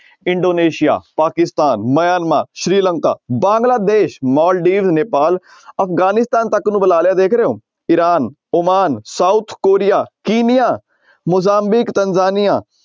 Indonesia, Pakistan, Myanmar, Sri Lanka, Bangladesh, Maldives, Nepal Afghanistan ਤੱਕ ਨੂੰ ਬੁਲਾ ਲਿਆ ਦੇਖ ਰਹੇ ਹੋ Iran, Oman, South Korea, Kenya, Mozambique, Tanzania